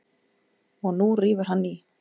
Og nú rífur hann í.